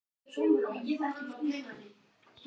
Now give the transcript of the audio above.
Heilt fjölbýlishús til sölu